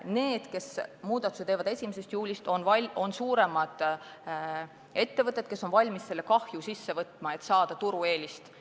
Need, kes muudatuse teevad kohe 1. juulist, on suuremad ettevõtted, kes on valmis seda kahju kandma, et saada turueelist.